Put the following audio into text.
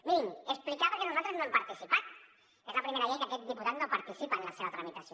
mirin explicar per què nosaltres no hi hem participat és la primera llei que aquest diputat no participa en la seva tramitació